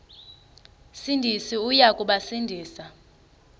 sindisi uya kubasindisa